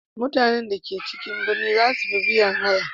Mutanen da ke cikin birni za su fi biyan haya.